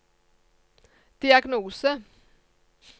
diagnose